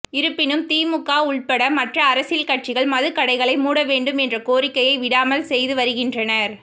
இருப்பினும் திமுக உள்பட மற்ற அரசியல் கட்சிகள் மதுக்கடைகளை மூட வேண்டும் என்ற கோரிக்கையை விடாமல் செய்து வருகின்றனர்